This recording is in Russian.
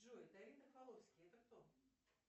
джой давид рафаловский это кто